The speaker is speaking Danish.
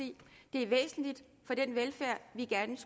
er væsentligt for den velfærd vi gerne